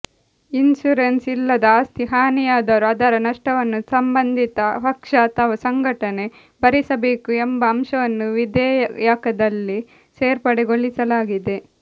insurance ಇಲ್ಲದ ಆಸ್ತಿ ಹಾನಿಯಾದರೂ ಅದರ ನಷ್ಟವನ್ನು ಸಂಬಂಧಿತ ಪಕ್ಷ ಅಥವಾ ಸಂಘಟನೆ ಭರಿಸಬೇಕು ಎಂಬ ಅಂಶವನ್ನು ವಿಧೇಯಕದಲ್ಲಿ ಸೇರ್ಪಡೆಗೊಳಿಸಲಾಗಿದೆ